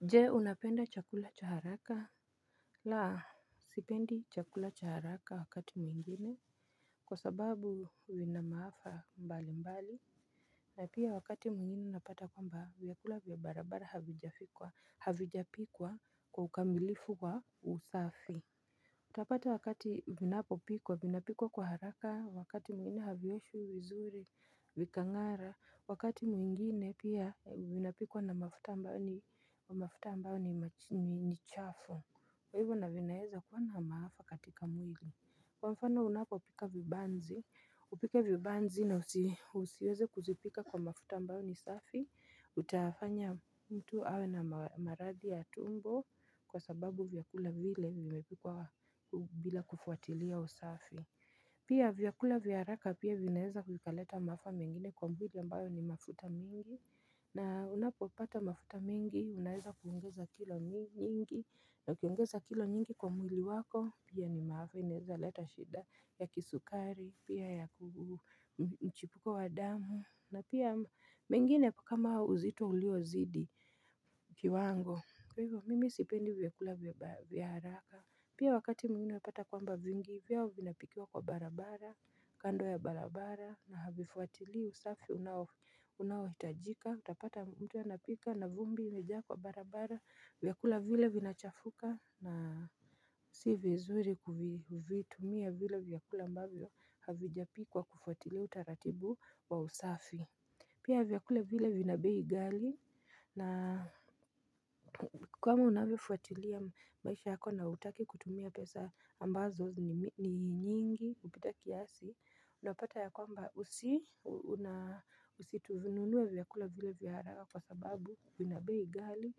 Je unapenda chakula cha haraka? La, sipendi chakula cha haraka wakati mwingine Kwa sababu vina maafa mbali mbali na pia wakati mwingine napata kwamba vyakula vya barabara havijafikwa havijapikwa kwa ukambilifu wa usafi Utapata wakati vinapo pikwa, vinapikwa kwa haraka, wakati mwingine havioshwi, vizuri, vikangara, wakati mwingine pia vinapikwa na mafuta ambao ni mach ni chafu. Kwa hivyo na vinaweza kuwa na maafa katika mwili. Kwa mfano unapopika vibanzi, upike vibanzi na usiweze kuzipika kwa mafuta ambayo ni safi, utafanya mtu awe na maradhi ya tumbo kwa sababu vyakula vile vimepikwa bila kufuatilia usafi. Pia vyakula vya haraka pia vinaweza vikaleta maafa mengine kwa mwili ambayo ni mafuta mingi, na unapopata mafuta mingi, unaweza kuongeza kilo nyingi, na ukiongeza kilo nyingi kwa mwili wako, pia ni maafa, inaweza leta shida ya kisukari, pia ya mchipuko wa damu, na pia mengine kama uzito uliozidi kiwango. Kwa hivyo mimi sipendi vyakula vya haraka Pia wakati mwingi unapata kwamba vingi vyao vinapikia kwa barabara kando ya barabara na havifuatili usafi unao unao hitajika Utapata mtu anapika na vumbi imejaa kwa barabara vyakula vile vinachafuka na si vizuri kuvitumia vile vyakula ambavyo havijapikwa kufuatilia utaratibu wa usafi Pia vyakula vile vina bei ghali na kama unavyofuatilia maisha yako na hutaki kutumia pesa ambazo ni nyingi kupita kiasi Unapata ya kwamba usi usivinunue vyakula vile vya haraka kwa sababu vina bei ghali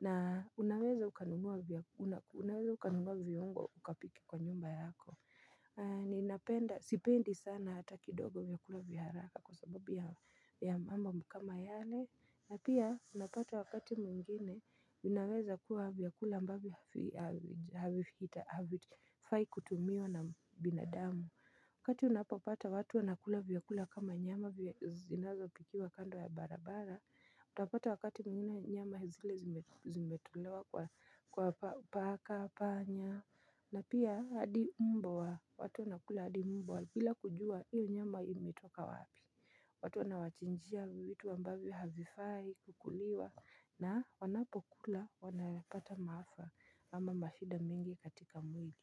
na unaweza ukanunua viungo ukapike kwa nyumba yako Ninapenda, sipendi sana hata kidogo vyakula vya haraka kwa sababu ya mambo kama yale na pia unapata wakati mwingine vinaweza kuwa vyakula ambavyo havifai kutumiwa na binadamu Wakati unapopata watu wanakula vyakula kama nyama zinazo pikiwa kando ya barabara Utapata wakati mwingine nyama zile zimetolewa kwa paka, panya na pia hadi mbwa watu wanakula hadi mbwa bila kujua hiyo nyama imetoka wapi watu wanawachinjia vitu ambavyo havifai kukuliwa na wanapokula wanapata maafa ama mashida mingi katika mwili.